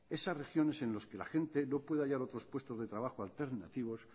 esas regiones en los que la gente no puede hallar otros puestos de trabajo alternativos